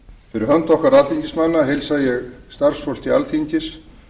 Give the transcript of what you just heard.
fyrir hönd okkar alþingismanna heilsa ég starfsfólki alþingis